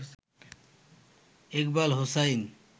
Iqbal Hussain